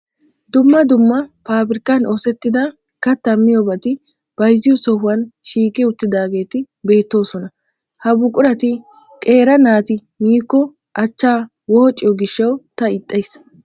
Dumma dumma paabirkkan oosettida kattaa miyobati bayzziyo sohan shiiqi uttidaageeti beettoosona. Ha buqurati qeera naati miikko achchaa woociyo gishshawu ta ixxays.